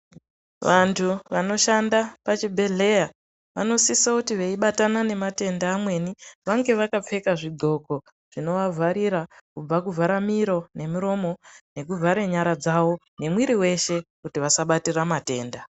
Vantu vanoshanda pachibhedhleya, vanosisouti veibatana nematenda amweni, vange vakapfeka zvidxoko zvinovavharira kubva kuvharamiro nemiromo, nekuvhare nyara dzavo, nemwiiri weshe ,kuti vasabatira matenda.